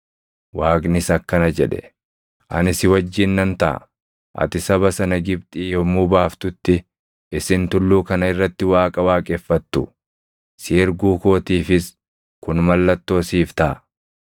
Waaqnis akkana jedhe; “Ani si wajjin nan taʼa. Ati saba sana Gibxii yommuu baaftutti isin tulluu kana irratti Waaqa waaqeffattu. Si erguu kootiifis kun mallattoo siif taʼa.”